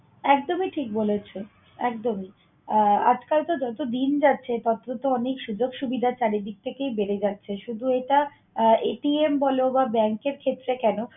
একদমই ঠিক বলেছ, একদমই। আহ আজকাল তো যতদিন যাচ্ছে ততো তো অনেক সুযোগ সুবিধা চারিদিক থেকেই বেড়ে যাচ্ছে। শুধু এটা আহ বল বা bank এর ক্ষেত্রে কেন